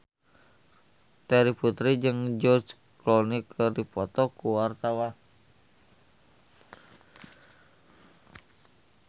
Terry Putri jeung George Clooney keur dipoto ku wartawan